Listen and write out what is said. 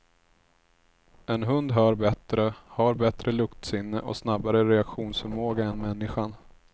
En hund hör bättre, har bättre luktsinne och snabbare reaktionsförmåga än människan.